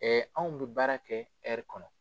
Ɛɛ anw bi baara kɛ kɔnɔ.